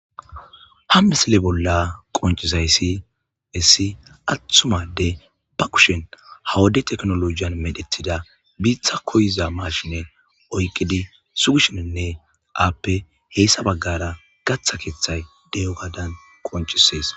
ha misile bolla qoncisay si essi atthumade ba kushen hawade teknolojiyan medhetida biitha koyiza marshine oyqidi sugishininne aappe heessa baggara gatha keeththay de7o gadan qoncisees